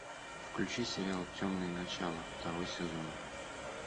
включи сериал темные начала второй сезон